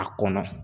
A kɔnɔ